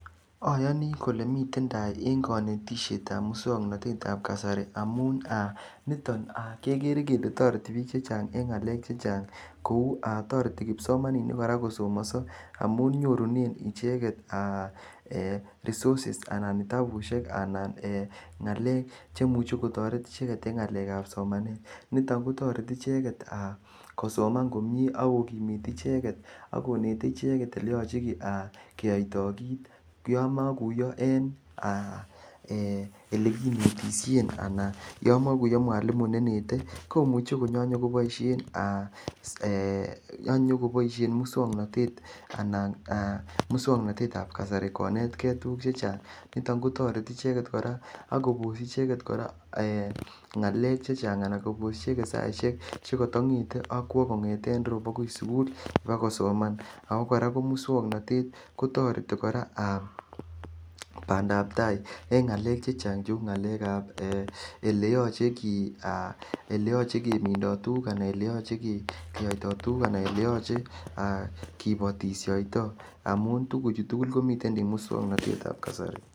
Oyoni kole miten tai en konetishetab muswoknotetab kasari amun aa niton kekere kele toreti bik chechang en ngalek chechang kou aa toreti kipsomaninik kosomoso amun nyorunen icheket ee aa resources anan kitabusiek anan ee ngalek chemuche kotoret icheket en ngalekab somanet nitok aa kotoreti icheket kosoman komie ak kokimit icheket ak konete icheket eleyoche aa keyoito kit yon mokuyo en aa ee elekinetishen anan yon mokuyo mwalimu nenete komuche ak konyokoboishen ee muswoknote aa anab muswoknotetab kasari konet kee tuguk chechang niton kotoreti icheket koraa ak koboshi icheket koraa ee ngalek chechang ana koboshi icheket saishek chekoto ngete kongeten ireyu okwo akoi sugul ba kosoman kotoreti koraa aa bandab tai en ngalek chechang cheu ngalekab eleyoche aa eleyoche kemindo tuguk ana eleyoche keyoito tuguk ana eleyoche kibotishoito amun tuguchu tugul komiten en muswoknotetab kasari.